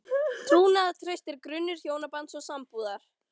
Trúnaðartraust er grunnur hjónabands og sambúðar.